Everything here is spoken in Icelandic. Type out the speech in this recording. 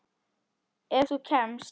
Ef þú kemst?